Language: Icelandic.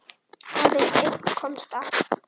Aðeins einn komst af.